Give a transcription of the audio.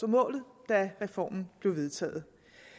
målet da reformen blev vedtaget